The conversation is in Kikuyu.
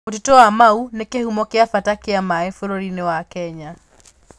Mũtitũ wa Mau nĩ kĩhumo kĩa bata kĩa maĩ bũrũri-inĩ wa Kenya.